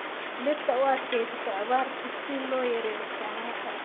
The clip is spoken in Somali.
Dhirta u adkeysata abaarta si loo yareeyo isticmaalka.